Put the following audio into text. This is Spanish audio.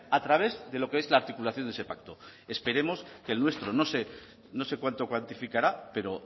a través de lo que es la articulación de ese pacto esperemos que el nuestro no sé cuánto cuantificará pero